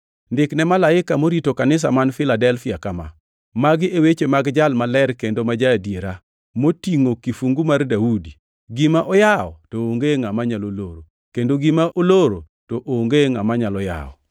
“Ndik ne Malaika morito kanisa man Filadelfia kama: Magi e weche mag Jal maler kendo ma ja-adiera, motingʼo kifungu mar Daudi. Gima oyawo to onge ngʼama nyalo loro; kendo gima oloro to onge ngʼama nyalo yawo.